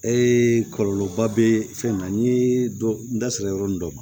kɔlɔlɔ ba bɛ fɛn na ni dɔ n da sera yɔrɔ min dɔ ma